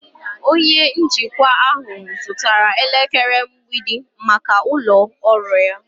Onye njikwa ahụ zụtara elekere mgbidi maka ụlọ ọrụ ya.